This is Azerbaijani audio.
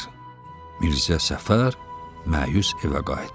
Mirzə Səfər məyus evə qayıtdı.